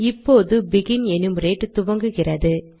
இப்போது begin enumerate துவங்குகிறது